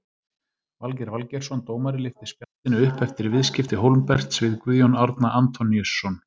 Valgeir Valgeirsson dómari lyfti spjaldinu upp eftir viðskipti Hólmberts við Guðjón Árna Antoníusson.